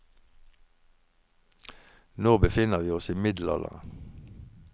Nå befinner vi oss i middelalderen.